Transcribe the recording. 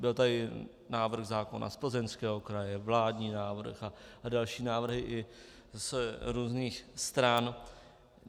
Byl tady návrh zákona z Plzeňského kraje, vládní návrh a další návrhy i z různých stran.